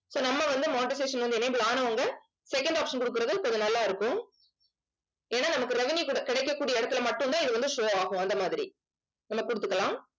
so நம்ம வந்து monetisation வந்து enable ஆனவங்க second option கொடுக்கிறது கொஞ்சம் நல்லா இருக்கும். ஏன்னா நமக்கு revenue குட~ கிடைக்கக்கூடிய இடத்துல மட்டும்தான் இது வந்து show ஆகும் அந்த மாதிரி நம்ம கொடுத்துக்கலாம்